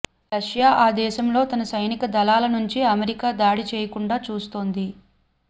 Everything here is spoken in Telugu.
రష్యా ఆ దేశంలో తన సైనికదళాల నుంచి అమెరికా దాడి చేయకుండా చూస్తోంది